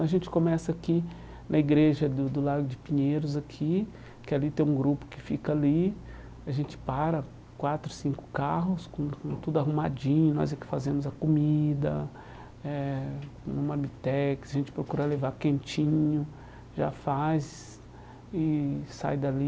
A gente começa aqui na igreja do do Lago de Pinheiros, aqui, que ali tem um grupo que fica ali, a gente para, quatro, cinco carros, com tudo arrumadinho, nós é que fazemos a comida, eh num marmitex, a gente procura levar quentinho, já faz e sai dali.